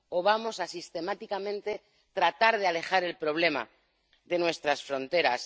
¿O vamos a sistemáticamente a tratar de alejar el problema de nuestras fronteras?